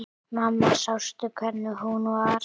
Mamma sástu hvernig hún var?